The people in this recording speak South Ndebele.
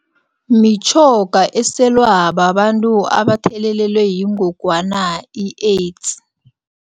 Mitjhoga eselwa babantu abathelelelwe yingogwana i-AIDS.